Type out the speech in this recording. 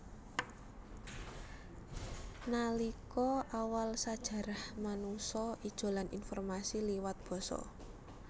Nalika awal sajarah manungsa ijolan informasi liwat basa